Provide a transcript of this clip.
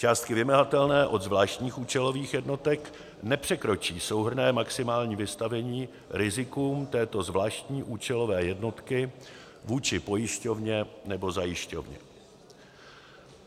Částky vymahatelné od zvláštních účelových jednotek nepřekročí souhrnné maximální vystavení rizikům této zvláštní účelové jednotky vůči pojišťovně nebo zajišťovně.